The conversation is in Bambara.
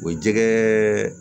O jɛgɛ